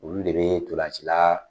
Olu de bɛ tolancila